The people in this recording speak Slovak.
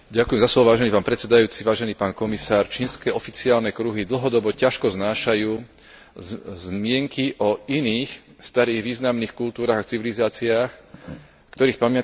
Čínske oficiálne kruhy dlhodobo ťažko znášajú zmienky o iných starých významných kultúrach a civilizáciách, ktorých pamiatky sa nachádzajú dnes na území Číny.